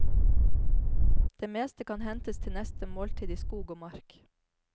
Det meste kan hentes til neste måltid i skog og mark.